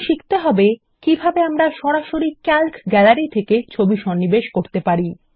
এখন শিখতে হবে কিভাবে আমরা সরাসরি ক্যালক গ্যালারি থেকে ছবি সন্নিবেশ করতে পারি